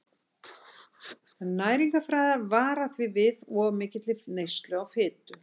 Næringarfræðingar vara því við of mikilli neyslu á fitu.